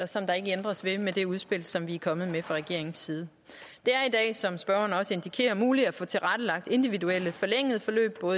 som der ikke ændres ved med det udspil som vi er kommet med fra regeringens side det er som spørgeren også indikerer muligt at få tilrettelagt individuelle forlængede forløb på